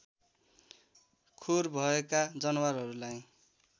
खुर भएका जनावरहरूलाई